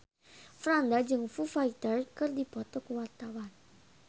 Franda jeung Foo Fighter keur dipoto ku wartawan